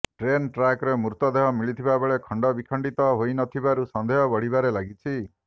train ଟ୍ରାକ୍ରେ ମୃତଦେହ ମିଳିଥିବା ବେଳେ ଖଣ୍ଡବିଖଣ୍ଡିତ ହୋଇନଥିବାରୁ ସନ୍ଦେହ ବଢିବାରେ ଲାଗିଛି